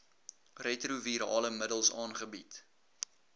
retrovirale middels aangebied